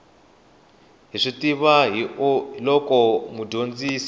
hi swi tiva hiolko mudyondzi